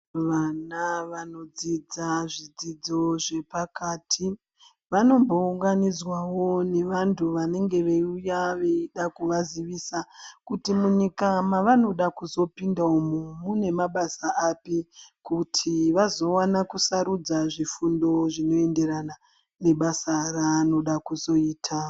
Vana vanodzidza zvidzidzo zve pakati vanombo unganidzawo ne vantu vanenge veyi uya veida kuva zivisa kuti munyika mavanoda kuzopinda umu mune mabasa api kuti vazowana ku sarudza zvifundo zvinoenderana nebasa ra anoda kuzoita.